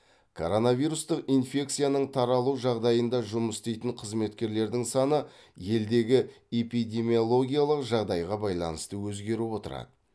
коронавирусты инфекцияның таралу жағдайында жұмыс істейтін қызметкерлердің саны елдегі эпидемиологиялық жағдайға байланысты өзгеріп отырады